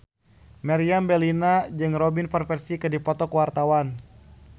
Meriam Bellina jeung Robin Van Persie keur dipoto ku wartawan